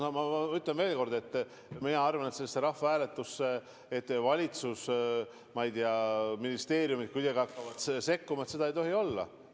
No ma ütlen veel kord, et seda, et sellesse rahvahääletusse valitsus või, ma ei tea, ministeeriumid kuidagi hakkavad sekkuma – seda ei tohi olla.